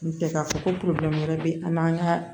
N tɛ k'a fɔ ko wɛrɛ bɛ an n'an ka